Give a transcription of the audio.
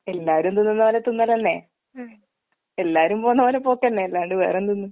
എല്ലാരും തിന്നുന്ന പോലെ തിന്നലന്നേ. ഉം. എല്ലാരും പോന്നപോലെ പോക്കന്നെ അല്ലാണ്ട് വേറെന്ത്ന്ന്.